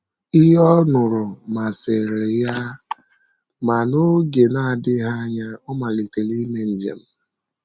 Ihe ọ nụrụ masịrị ya, ma n’oge na - adịghị anya, ọ malitere ime njem.